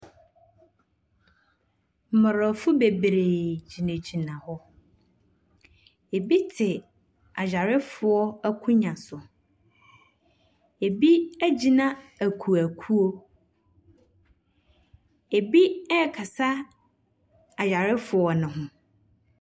Mmorɔfo bebree gyinagyina hɔ. Ɛbi te ayarefoɔ akonnwa so, ɛbi agyina akuokuo, ɛbi ɛɛkasa ayarefoɔ ne ho.